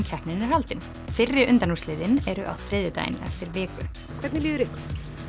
keppnin er haldin fyrri undanúrslitin eru á þriðjudaginn eftir viku hvernig líður ykkur